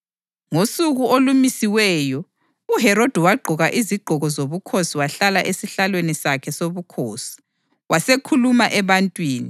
Ngosuku olumisiweyo, uHerodi wagqoka izigqoko zobukhosi wahlala esihlalweni sakhe sobukhosi, wasekhuluma ebantwini.